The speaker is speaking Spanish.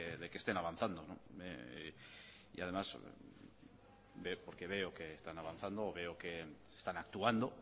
de que estén avanzando y además porque veo que están avanzando porque veo que están actuando